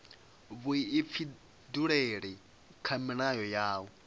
vhuifhinduleli kha milayo ya u